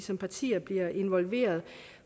som partier bliver involveret